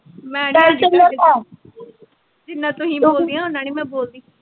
ਮੈਨੀ ਆਉਂਦੀ ਜਿੰਨਾ ਤੁਸੀਂ ਬੋਲਦੀਆਂ ਉਨਾਂ ਨੀ ਮੈਂ ਬੋਲਦੀ